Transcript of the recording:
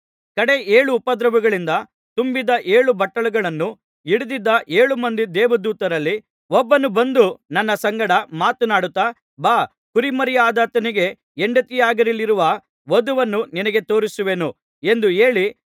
ಕಡೇ ಏಳು ಉಪದ್ರವಗಳಿಂದ ತುಂಬಿದ ಏಳು ಬಟ್ಟಲುಗಳನ್ನು ಹಿಡಿದಿದ್ದ ಏಳು ಮಂದಿ ದೇವದೂತರಲ್ಲಿ ಒಬ್ಬನು ಬಂದು ನನ್ನ ಸಂಗಡ ಮಾತನಾಡುತ್ತಾ ಬಾ ಕುರಿಮರಿಯಾದಾತನಿಗೆ ಹೆಂಡತಿಯಾಗಲಿರುವ ವಧುವನ್ನು ನಿನಗೆ ತೋರಿಸುವೆನು ಎಂದು ಹೇಳಿ